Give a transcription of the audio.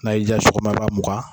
N'a y'i diya sɔgɔma i b'a muga.